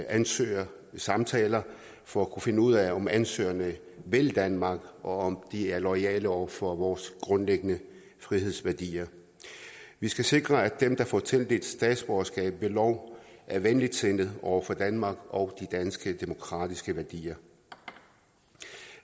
ansøgere ved samtaler for at kunne finde ud af om ansøgerne vil danmark og om de er loyale over for vores grundlæggende frihedsværdier vi skal sikre at dem der får tildelt statsborgerskab ved lov er venligsindede over for danmark og danske demokratiske værdier